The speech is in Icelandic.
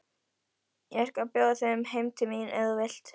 Ég skal bjóða þér heim til mín ef þú vilt!